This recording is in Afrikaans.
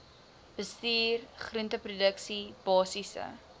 bestuur groenteproduksie basiese